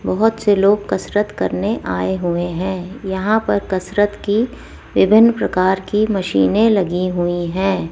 बहोत से लोग कसरत करने आए हुए हैं यहां पर कसरत की विभिन्न प्रकार की मशीने लगी हुई हैं।